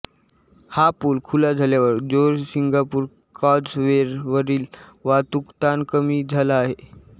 हा पूल खुला झाल्यावर जोहोरसिंगापूर कॉझवेवरील वाहतूक ताण कमी झाला आहे